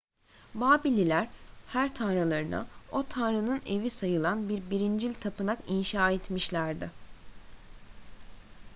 babilliler her tanrılarına o tanrının evi sayılan bir birincil tapınak inşa etmişlerdi